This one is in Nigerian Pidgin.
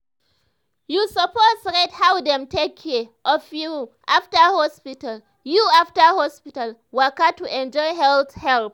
you suppose rate how dem take care of you after hospital you after hospital waka to enjoy health help.